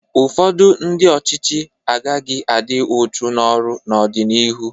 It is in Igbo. Ụfọdụ ndị ọchịchị agaghị adị uchu n'ọrụ n'ọdịnihu.